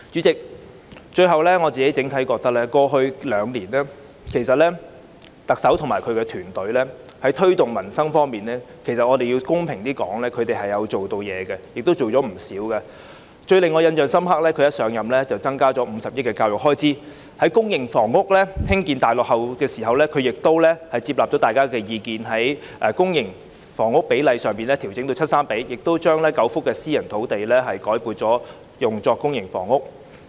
最後，主席，公道點說，我認為整體上特首及其團隊過去兩年在推動改善民生的工作方面做了不少工夫，最令我印象深刻的是特首一上任便增加50億元的教育開支，而在公營房屋建屋量大落後的情況下，她亦接納大家的意見，把公私營房屋比例調整至七三比，並將9幅私營房屋土地改作興建公營房屋之用。